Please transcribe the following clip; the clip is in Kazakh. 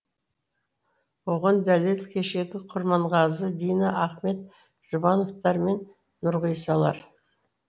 оған дәлел кешегі құрманғазы дина ахмет жұбановтар мен нұрғисалар